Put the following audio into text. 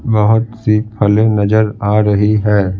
बहुत सी फलें नजर आ रही है।